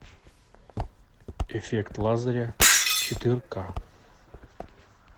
эффект лазаря четыре ка